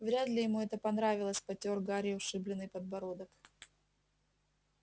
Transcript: вряд ли ему это понравилось потёр гарри ушибленный подбородок